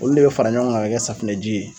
Olu de be fara ɲɔgɔn kan ka kɛ safunɛji ye.